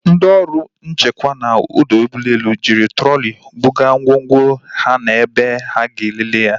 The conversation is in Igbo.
Ndị ọrụ nchekwa na ọdọ ụgbọelu ji trọli buga ngwongwo ha na ebe a ga-elele ya